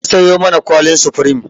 An sayo mana kwallin supreme.